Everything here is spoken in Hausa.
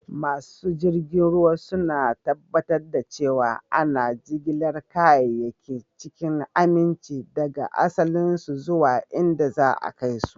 Masu jirgin ruwa suna tabbatar da cewa ana jigilar kayayyaki cikin aminci daga asalinsu zuwa inda za a kai su.